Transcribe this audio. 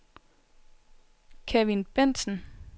Kevin Bendtsen